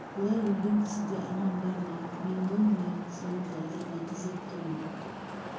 былай өлген кісіде арман бар ма мен ғой міне сенің тағдырыңа қызығып тұрмын